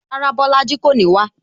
Rárá, Bolaji kò ní wá